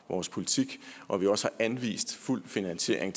vores politik og at vi også har anvist fuld finansiering